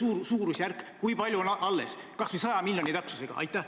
Öelge suurusjärk, kui palju on alles, kas või 100 miljoni täpsusega!